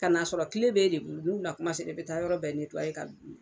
Ka n'a sɔrɔ kile b'e de bolo n'u na kuma sera i bɛ taa yɔrɔ bɛɛ ka